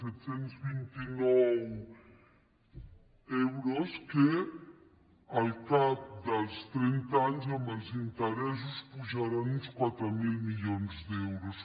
set cents i vint nou euros que al cap dels trenta anys amb els interessos pujaran uns quatre mil milions d’euros